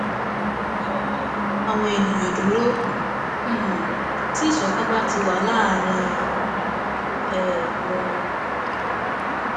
kò sí ohun tó lè dá àwọn ènìyàn dúró um tí ìṣọkan bá ti wà láàrín um wọn